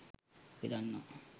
අපි දන්නවා